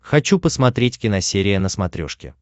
хочу посмотреть киносерия на смотрешке